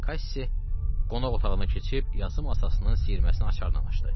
Kaşşi qonaq otağına keçib yazı masasının siyirməsini açardan açdı.